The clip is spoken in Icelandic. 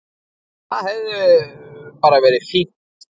Það hefði bara verið fínt.